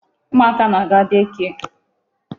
Ụmụ aka na-aga day care.